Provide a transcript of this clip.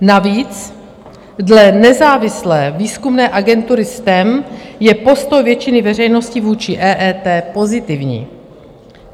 Navíc dle nezávislé výzkumné agentury STEM je postoj většiny veřejnosti vůči EET pozitivní.